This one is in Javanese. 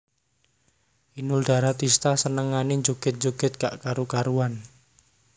Inul Daratista senengane njoget njoget gak karu karuan